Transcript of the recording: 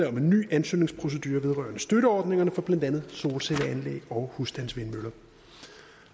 en ny ansøgningsprocedure vedrørende støtteordningerne for blandt andet solcelleanlæg og husstandsvindmøller